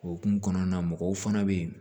Okumu kɔnɔna na mɔgɔw fana bɛ yen